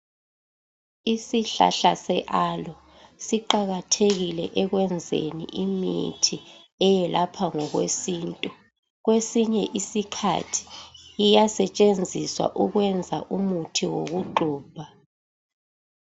isihlahla se aloe siqakathekile ekwenzeni imithi eyelapha ngokwesintu kwesinye isikhathi iyasetshenziswa ukwenza umuthi wokugxubha